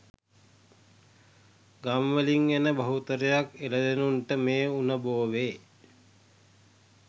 ගම් වලින් එන බහුතරයක් එළදෙනුන්ට මේ උණ බෝවේ.